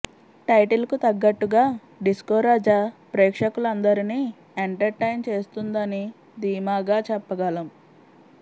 title కు తగ్గట్టుగా Disco Raja ప్రేక్షకులందరినీ enter టైన్ చేస్తుందని ధీమాగా చెప్పగలం